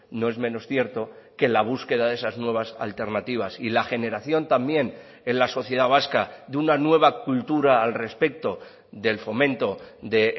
no es menos cierto que la búsqueda de esas nuevas alternativas y la generación también en la sociedad vasca de una nueva cultura al respecto del fomento de